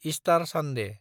star सन्दे